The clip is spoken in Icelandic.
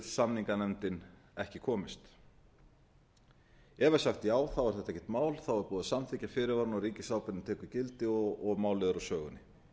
samninganefndin ekki komist ef sagt er já þá er þetta ekkert mál þá er búið að samþykkja fyrirvarana og ríkisábyrgðin tekur gildi og málið er úr sögunni